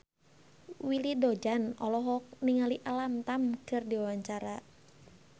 Willy Dozan olohok ningali Alam Tam keur diwawancara